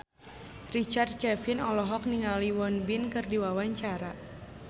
Richard Kevin olohok ningali Won Bin keur diwawancara